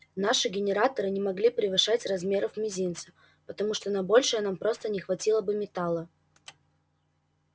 наши генераторы не могли превышать размеров мизинца потому что на большее нам просто не хватило бы металла